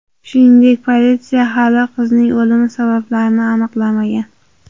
Shuningdek, politsiya hali qizning o‘limi sabablarini aniqlamagan.